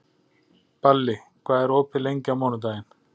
Balli, hvað er opið lengi á mánudaginn?